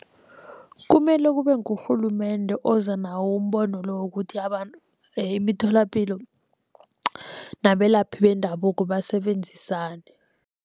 Kumele kube ngurhulumende oza nawo umbono lo wokuthi abantu emitholapilo nabelaphi bendabuko basebenzisane.